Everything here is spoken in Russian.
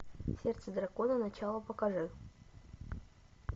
сердце дракона начало покажи